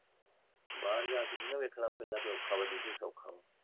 ਬਾਹਰ ਜਾਂ ਕੇ ਨੀ ਨਾ ਵੇਖਣਾ ਵੀ ਔਖਾ ਵਜੇ ਕੇ ਸੋਖਾ